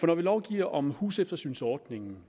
når vi lovgiver om huseftersynsordningen